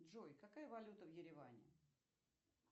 джой какая валюта в ереване